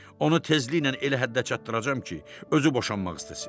Onu tezliklə elə həddə çatdıracam ki, özü boşanmaq istəsin.